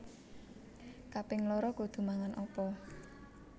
Kaping loro kudu mangan opo?